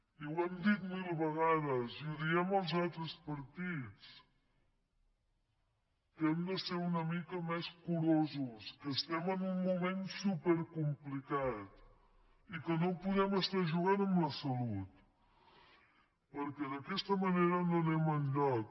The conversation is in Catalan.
i ho hem dit mil vegades i ho diem als altres partits que hem de ser una mica més curosos que estem en un moment supercomplicat i que no podem estar jugant amb la salut perquè d’aquesta manera no anem enlloc